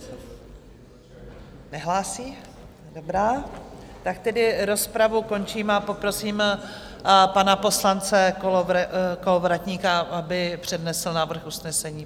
Nehlásí, dobrá, tak tedy rozpravu končím a poprosím pana poslance Kolovratníka, aby přednesl návrh usnesení.